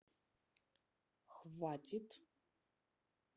хватит